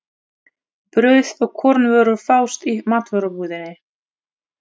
Brauð og kornvörur fást í matvörubúðinni.